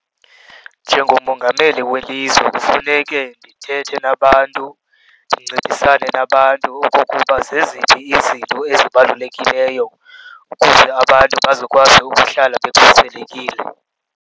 Njengomongameli welizwe kufuneke ndithethe nabantu, ndincedisane nabantu okokuba zeziphi izinto ezibalulekileyo ukuze abantu bazokwazi ukuhlala bekhuselekile.